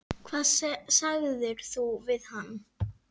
Hvað sagðir þú við hann?